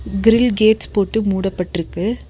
Grill gates போட்டு மூட பட்டு இருக்கு.